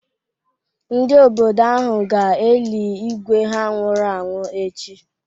Ndị obodo ahụ ga-eli Ígwé ha nwụrụ anwụ echi.